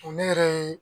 O ne yɛrɛ ye